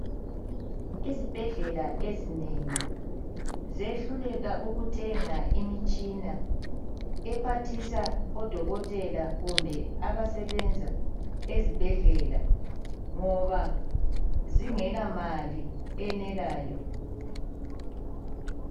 Izibhedlela ezinengi ziyehluleka ukuthenga imitshina ephathisa odokotela kumbe abasebenza ezibhedlela ngoba zingelamali eyenelayo.